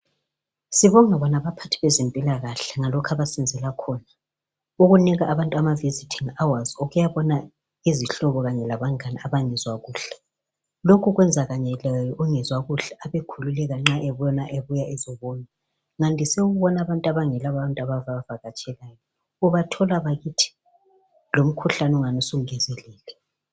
sibonga bona abaphathi bezempilakahle ngalokhu abasenzela khona ukunika abantu ama visiting hours ukuyabona izihlobo kanye labangane abangezwa kuhle lokhu kwenza kanye lungezwa kuhle ekhuleka nxa ebona bezombona ngandise ukubona abantu abangela bantu ababa vakatshelayo ubathola bakithi lomkhuhlane ungathi usungezelele